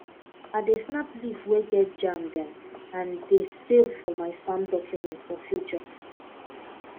i dey snap leaf way get germ dem and dey save for my farm document for future